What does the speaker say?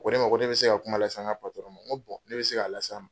Ko ne ma ko ne bɛ se ka kuma la s'an ka patɔrɔn ma , n ko ne bɛ se k'a la s'a ma.